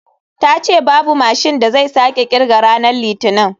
Ta ce babu mashin da zai sake kirga ranar litinin.